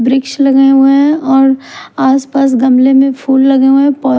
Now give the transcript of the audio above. वृक्ष लगे हुए हैं और आसपास गमले में फूल लगे हुए हैं पौ--